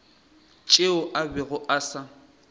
tšeo a bego a sa